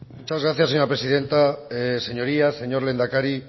muchas gracias señora presidenta señorías señor lehendakari